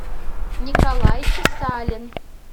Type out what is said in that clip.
николай чесалин